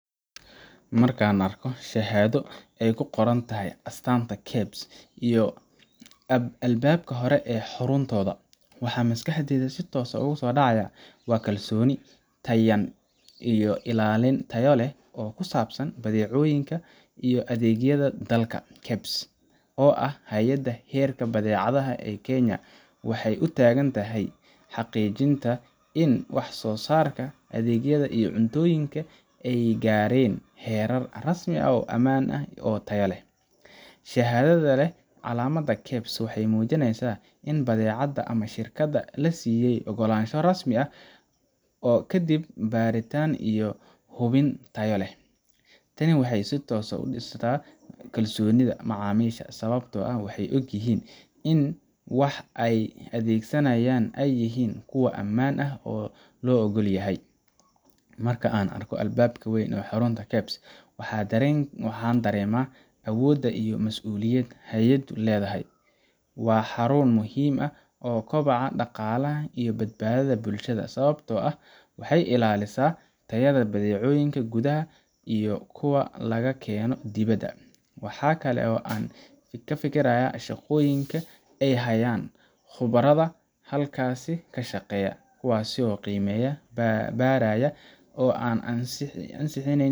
Marka aan arko shahaado ay ku qoran tahay astaanta KEBS iyo albaabka hore ee xaruntooda, waxa maskaxdayda si toos ah ugu soo dhacaya waa kalsooni, tayayn, iyo ilaalin tayo leh oo ku saabsan badeecooyinka iyo adeegyada dalka. KEBS, oo ah Hay’adda Heerarka Badeecadaha ee Kenya, waxay u taagan tahay xaqiijinta in wax soo saarka, adeegyada, iyo cuntooyinka ay gaareen heerar rasmi ah oo ammaan iyo tayo leh. Shahaadada leh calaamadda KEBS waxay muujinaysaa in badeecadda ama shirkadda la siiyay oggolaansho rasmi ah kadib baaritaan iyo hubin tayo leh. Tani waxay si toos ah u dhistaa kalsoonida macaamiisha, sababtoo ah waxay ogyihiin in waxa ay adeegsanayaan ay yihiin kuwo ammaan ah oo la oggol yahay. Marka aan arko albaabka weyn ee xarunta KEBS, waxaan dareemaa awoodda iyo mas’uuliyadda hay’addu leedahay. Waa xarun muhim u ah kobaca dhaqaalaha iyo badbaadada bulshada, sababtoo ah waxay ilaalisaa tayada badeecooyinka gudaha iyo kuwa laga keeno dibadda. Waxaa kale oo aan ka fekerayaa shaqooyinka ay hayaan khubarada halkaas ka shaqeeya kuwaasoo qiimeeya, baaraya, oo ansixinaya